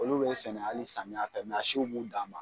Olu bɛ sɛnɛ hali samiyɛ a siw b'u dan ma.